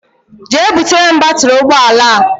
Jee butere m batiri ụgbọala a!!!!